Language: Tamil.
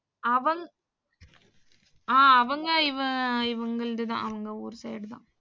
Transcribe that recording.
அவங் அ அவங்க இவங்கல்துதான் அவங்க ஊரு side தான்.